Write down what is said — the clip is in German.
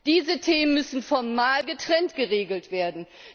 Diese Themen müssen formal getrennt geregelt werden.